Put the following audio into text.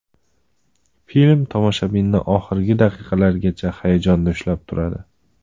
Film tomoshabinni oxirgi daqiqalargacha hayajonda ushlab turadi.